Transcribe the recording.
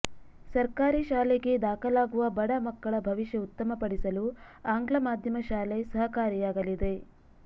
ಸರ್ಕಾರಿ ಶಾಲೆಗೆ ದಾಖಲಾಗುವ ಬಡ ಮಕ್ಕಳ ಭವಿಷ್ಯ ಉತ್ತಮಪಡಿಸಲು ಆಂಗ್ಲ ಮಾಧ್ಯಮ ಶಾಲೆ ಸಹಕಾರಿಯಾಗಲಿದೆ